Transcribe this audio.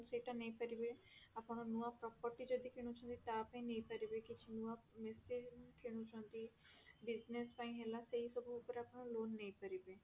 ସେଇଟା ନେଇପାରିବେ ଆପଣ ନୂଆ property ଯଦି କିଣୁଛନ୍ତି ତାପାଇଁ ନେଇପାରିବେ କିଛି ନୂଆ machine କିଣୁଛନ୍ତି business ପାଇଁ ହେଲା ସେଇ ସବୁ ଉପରେ ଆପଣ loan ନେଇପାରିବେ